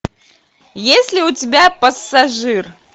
есть ли у тебя пассажир